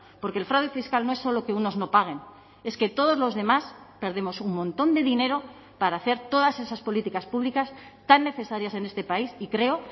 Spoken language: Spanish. porque el fraude fiscal no es solo que unos no paguen es que todos los demás perdemos un montón de dinero para hacer todas esas políticas públicas tan necesarias en este país y creo